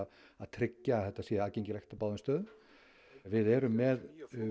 að tryggja að þetta sé aðgengilegt á báðum stöðum við erum með